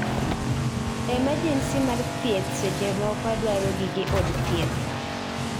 Emergency mar thieth seche moko dwaro gige od thieth